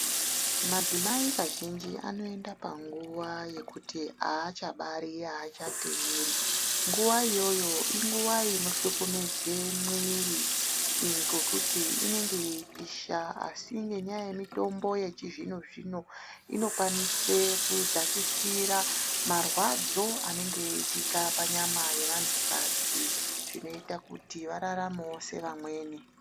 Madzimai kazhinji anoende panguwa yekuti achabari achateeri nguwa iyoyo inguwa inothlukumize mwiri ngokuti inenge yeipisha asi ngenyaya yemitombo yechizvinozvino inokwanise kudzakisira marwadzo anenge eitika panyama yevantukadzi zvinoita kuti vararamewo sevamweni.